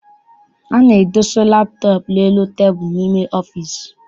A na-edosa laptọọp n'elu tebulu n'ime ọfịịsi.